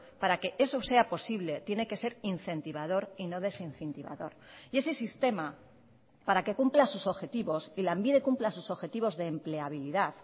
para que eso sea posible tiene que ser incentivador y no desincentivador y ese sistema para que cumpla sus objetivos y lanbide cumpla sus objetivos de empleabilidad